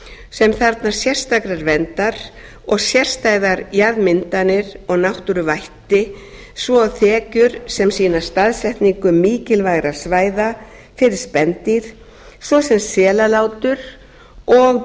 sem þarfnast sérstakrar verndar og sérstæðar jarðmyndanir og náttúruvætti og svo þekjur sem sýna staðsetningu mikilvægra svæða fyrir spendýr svo sem selalátur og